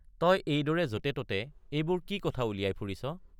তই এইদৰে যতে ততে এইবোৰ কি কথা উলিয়াই ফুৰিছ?